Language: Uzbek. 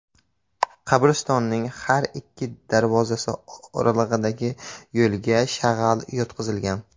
Qabristonning har ikki darvozasi oralig‘idagi yo‘lga shag‘al yotqizilgan.